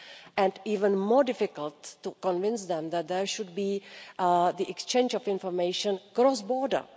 and even more difficult to convince them that there should be an exchange of information cross border.